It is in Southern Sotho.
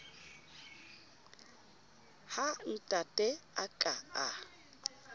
ha ntate a ka a